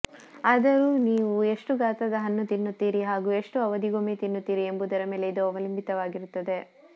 ಆದರೂ ನೀವು ಎಷ್ಟು ಗಾತ್ರದ ಹಣ್ಣು ತಿನ್ನುತ್ತೀರಿ ಹಾಗು ಎಷ್ಟು ಅವಧಿಗೊಮ್ಮೆ ತಿನ್ನುತ್ತೀರಿ ಎಂಬುದರ ಮೇಲೆ ಇದು ಅವಲಂಬಿತವಾಗಿರುತ್ತದೆ